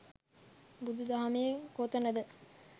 බුදු දහමේ කොතනද